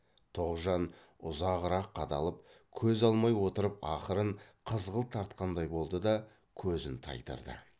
тоғжан ұзағырақ қадалып көз алмай отырып ақырын қызғылт тартқандай болды да көзін тайдырды